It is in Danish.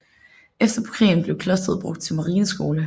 Efter krigen blev klosteret brugt til marineskole